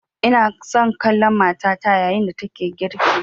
Ina son kallon matata yayin da take girki